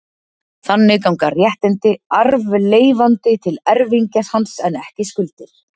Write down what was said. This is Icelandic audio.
Þannig ganga réttindi arfleifanda til erfingja hans en ekki skuldir.